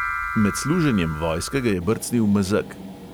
Med služenjem vojske ga je brcnil mezeg.